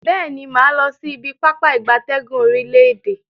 Beeni, maa losi ibi Pápá ìgbatẹ́gùn orile-ede.